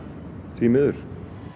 því miður